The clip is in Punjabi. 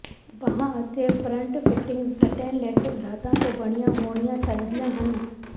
ਬਾਂਹ ਅਤੇ ਫਰੰਟ ਫਿਟਿੰਗਜ ਸਟੈਨਲੇਟਿਕ ਧਾਤਾਂ ਤੋਂ ਬਣੀਆਂ ਹੋਣੀਆਂ ਚਾਹੀਦੀਆਂ ਹਨ